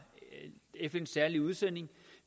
fns særlige udsending